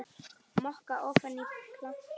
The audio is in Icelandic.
Moka ofan í eða planta?